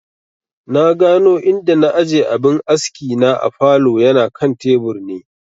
Na gano inda na aje abin askina a falow, yana kan tebur ne